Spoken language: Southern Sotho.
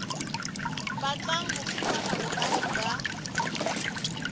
batlang ho fumana boahi ba